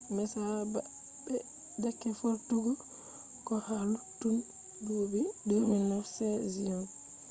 messa ɓa’deke vortugo ko ha luttudun dubi 2009 seasion